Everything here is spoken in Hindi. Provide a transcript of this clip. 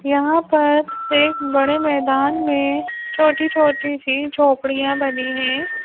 यहां पर एक बड़े मैदान में छोटी-छोटी सी झोपड़ियां बनी है।